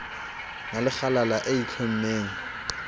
na le kgalala e itlhommeng